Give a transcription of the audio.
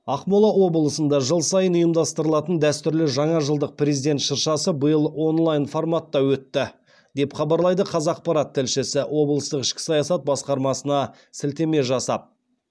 ақмола облысында жыл сайын ұйымдастырылатын дәстүрлі жаңа жылдық президент шыршасы биыл онлайн форматта өтті деп хабарлайды қазақпарат тілшісі облыстық ішкі саясат басқармасына сілтеме жасап